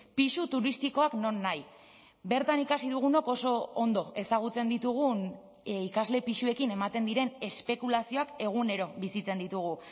pisu turistikoak nonahi bertan ikasi dugunok oso ondo ezagutzen ditugun ikasle pisuekin ematen diren espekulazioak egunero bizitzen ditugu